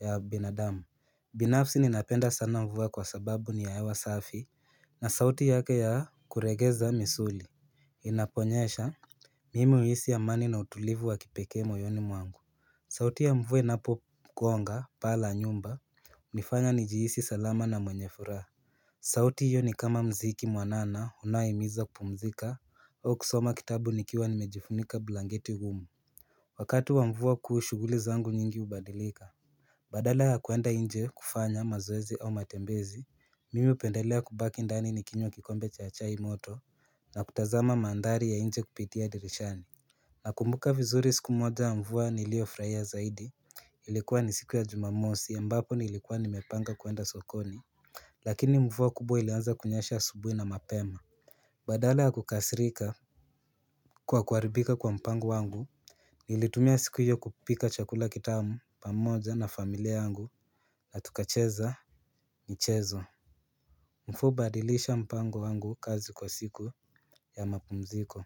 ya binadamu binafsi ninapenda sana mvua kwa sababu ni ya hewa safi na sauti yake ya kuregeza misuli inaponyesha Mimi huisi amani na utulivu wa kipekee moyoni mwangu sauti ya mvua inapo gonga paa la nyumba hunifanya nijihisi salama na mwenye furaha sauti hiyo ni kama mziki mwanana unayohimiza kupumzika au kusoma kitabu nikiwa nimejifunika blanketi ngumu Wakati wa mvua kuu shughuli zangu nyingi hubadilika Badala ya kuenda inje kufanya mazoezi au matembezi mimi hupendelea kubaki ndani nikinywa kikombe cha chai moto na kutazama mandhari ya inje kupitia dirishani Nakumbuka vizuri siku moja mvua niliyofurahia zaidi ilikuwa ni siku ya jumamosi ambapo nilikuwa nimepanga kuenda sokoni Lakini mvua kubwa ilianza kunyesha asubuhi na mapema Badala ya kukasirika Kwa kuharibika kwa mpango wangu Nilitumia siku hiyo kupika chakula kitamu pamoja na familia wangu na tukacheza michezo mvua hubadilisha mpango wangu kazi kwa siku ya mapumziko.